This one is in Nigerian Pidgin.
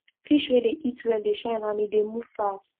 fish wey dey eat well dey shine and e dey move fast